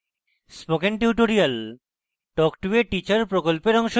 spoken tutorial talk to a teacher প্রকল্পের অংশবিশেষ